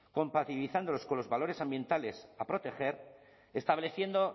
compatibilizándolos con los valores ambientales a proteger estableciendo